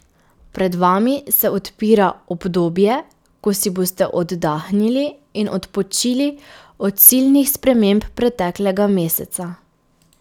Pred vami se odpira obdobje, ko si boste oddahnili in odpočili od silnih sprememb preteklega meseca.